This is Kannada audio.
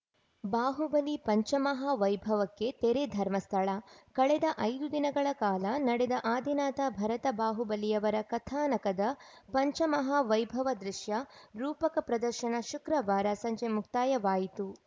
ಬಾಹುಬಲಿ ಪಂಚಮಹಾ ವೈಭವಕ್ಕೆ ತೆರೆ ಧರ್ಮಸ್ಥಳ ಕಳೆದ ಐದು ದಿನಗಳ ಕಾಲ ನಡೆದ ಆದಿನಾಥ ಭರತ ಬಾಹುಬಲಿಯವರ ಕಥಾನಕದ ಪಂಚಮಹಾ ವೈಭವ ದೃಶ್ಯ ರೂಪಕ ಪ್ರದರ್ಶನ ಶುಕ್ರವಾರ ಸಂಜೆ ಮುಕ್ತಾಯವಾಯಿತು